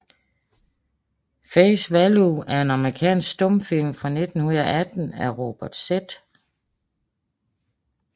Face Value er en amerikansk stumfilm fra 1918 af Robert Z